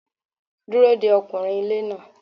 Dúró de ọkùnrin ilé náà.